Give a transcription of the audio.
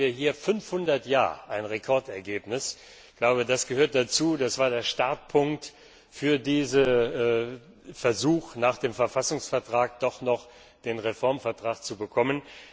Dazu hatten wir damals 500 Ja Stimmen ein Rekordergebnis. Das gehört dazu, das war der Startpunkt für diesen Versuch, nach dem Verfassungsvertrag doch noch den Reformvertrag zu bekommen.